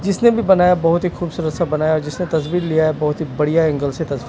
जिसने भी बनाया बहोत ही खूबसूरत सा बनाया जिसने तस्वीर लिया है बहोत ही बढ़िया एंगल से तस्वीर--